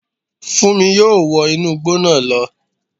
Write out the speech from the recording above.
Fúnmi yóò wọ inú igbó náà lọ